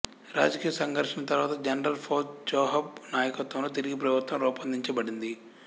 రాజకీయ సంఘర్షణ తరువాత జనరల్ ఫౌద్ చెహాబ్ నాయకత్వంలో తిరిగి ప్రభుత్వం రూపొందించబడింది